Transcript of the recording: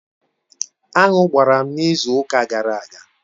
Aṅụ gbara m n'izu ụka gara aga.